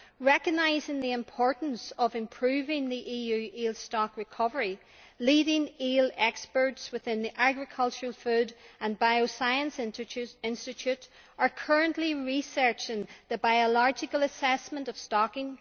Recognising the importance of improving the EU eel stock recovery, leading eel experts in the Agriculture, Food and Bioscience Institute are currently researching the biological assessment of stocking.